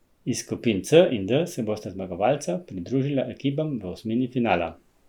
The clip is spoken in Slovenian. Iz skupin C in D se bosta zmagovalca pridružila ekipam v osmini finala.